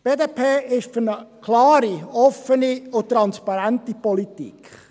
Die BDP ist für eine klare, offene und transparente Politik.